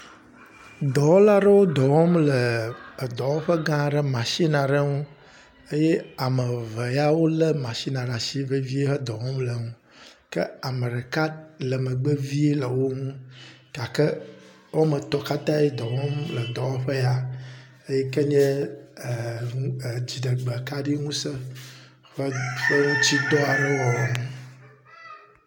Dɔwɔla aɖewo dɔ wɔm le edɔwɔƒe gã aɖe machine aɖe ŋu eye ame eve ya wolé machin ɖe asi vevie le dɔ wɔm le ŋu ke ame ɖeka le megbe vie le wo ŋu gake woame etɔ̃ katã le dɔ wɔm le eŋu le dɔwɔƒe ya yi ke nye nu…eee… dziɖegbekaɖi ŋusẽ ƒe ŋutidɔ aɖewo wɔwɔ.